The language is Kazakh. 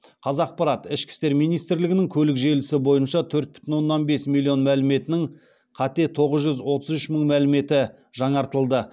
қазақпарат ішкі істер министрлігінің көлік желісі бойынша төрт бүтін оннан бес миллион мәліметінің қате тоғыз жүз отыз үш мың мәліметі жаңартылды